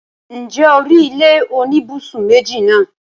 ǹjẹ́ o rí ilé oníbùsùn méjì náà?